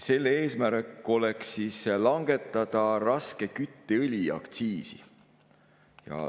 Selle eesmärk on langetada raske kütteõli aktsiisi.